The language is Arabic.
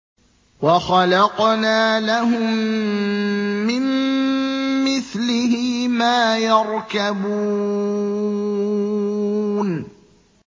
وَخَلَقْنَا لَهُم مِّن مِّثْلِهِ مَا يَرْكَبُونَ